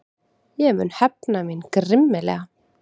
Ég mun hefna mín grimmilega.